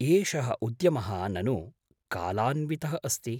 एषः उद्यमः ननु कालान्वितः अस्ति।